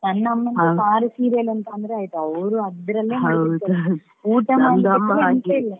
ನನ್ನ ಅಮ್ಮನಿಗೆ ಪಾರು serial ಅಂತ ಅಂದ್ರೆ ಆಯ್ತು ಅವರು ಅದ್ರಲ್ಲೇ ಮುಳುಗಿರ್ತಾರೆ ಊಟ ಎಂತ ಇಲ್ಲ.